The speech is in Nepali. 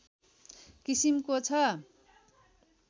किसिमको छ